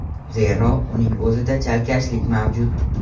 Zero, uning o‘zida chalkashlik mavjud.